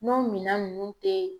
N'o minan nunnu te